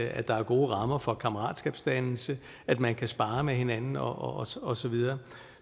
at der er gode rammer for kammeratskabsdannelse at man kan sparre med hinanden og og så videre